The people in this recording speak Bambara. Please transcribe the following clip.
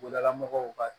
Dala mɔgɔw ka